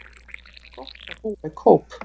Það er gott að búa í Kóp.